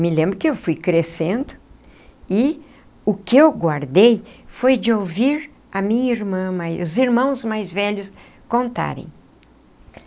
Me lembro que eu fui crescendo e o que eu guardei foi de ouvir a minha irmã os irmãos mais velhos contarem.